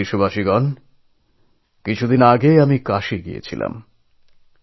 আমার প্রিয় দেশবাসী কিছুদিন আগে আমি কাশীগিয়েছিলাম